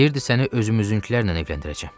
Deyirdi səni özümüzünkülərlə evləndirəcəm.